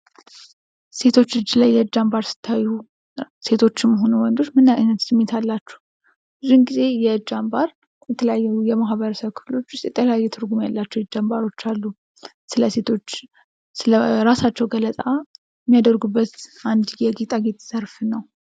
ሴቶች እጅ ላይ የእጅ አንባር ስታዩ ሴቶችም ሁኑ ወንዶች ምን አይነት ስሜት አላችሁ? ብዙውን ጊዜ የእጅ አንባር የተለያየ ማህበረሰብ ክፍሎች ዉስጥ የተለያየ ትርጉም ያላቸው የእጅ አንባሮች አሉ። ስለ ሴቶች ስለራሳቸው ገለጻ የሚያደርጉበት አንድ የጌጣጌጥ ዘርፍ ነው።